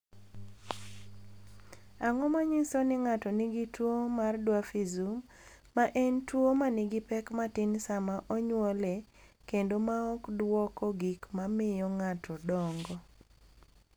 "Ang’o ma nyiso ni ng’ato nigi tuwo mar Dwarfism, ma en tuwo ma nigi pek matin sama onyuole kendo ma ok dwoko gik ma miyo ng’ato dongo?"